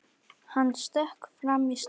Hann stökk fram í stofu.